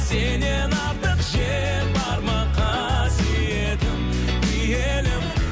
сенен артық жер бар ма қасиеттім киелім